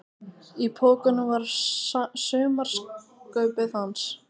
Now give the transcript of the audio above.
Í pokunum var sumarkaupið hans.